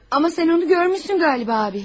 Amma sən onu görmüşsən, galiba abi.